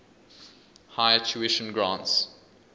higher tuition grants